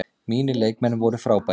Mínir leikmenn voru frábærir.